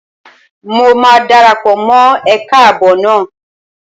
Mo máa dara pọ̀ mọ́ ẹ̀ka ààbò náà